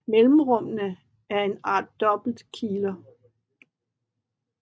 Mellemrummene er en art dobbelte kiler